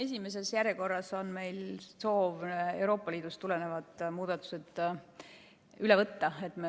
Esimeses järjekorras on meil soov Euroopa Liidust tulevad muudatused üle võtta.